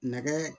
Nɛgɛ